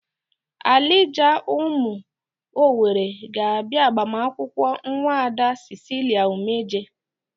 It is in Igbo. Alija ụmụ Owere ga-abia agbamnkwu Nwaada Cicilia Umeje.